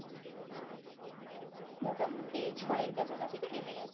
মোটামুটি ছ এর কাছাকাছি তো নেমে গেছে।